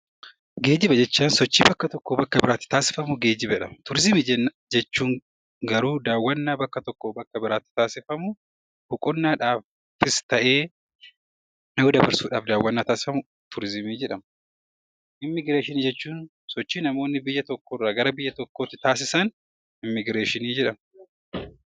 Geejiba jechuun sochii bakka tokkoo bakka biraatti taasifamu geejiba jedhama. Turizimii jechuun garuu daawwannaa gara tokkoo gara biraatti taasifamu, boqqonnaadhaafis ta'ee yeroo dabarsuuf turizimii jedhama. Immigireeshinii jechuun sochii namoonni biyya tokkoo gara biyya tokkootti taasisan immigireeshinii jedhama.